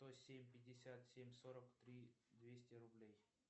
сто семь пятьдесят семь сорок три двести рублей